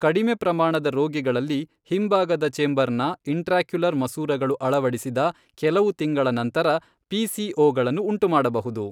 ಕಡಿಮೆ ಪ್ರಮಾಣದ ರೋಗಿಗಳಲ್ಲಿ, ಹಿಂಭಾಗದ ಚೆಂಬರ್ನ ಇಂಟ್ರಾಕ್ಯುಲರ್ ಮಸೂರಗಳು ಅಳವಡಿಸಿದ ಕೆಲವು ತಿಂಗಳ ನಂತರ ಪಿ.ಸಿ.ಓ ಗಳನ್ನು ಉಂಟುಮಾಡಬಹುದು.